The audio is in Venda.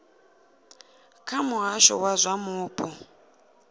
kha muhasho wa zwa mupo